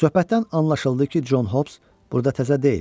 Söhbətdən anlaşıldı ki, Con Hobs burda təzə deyil.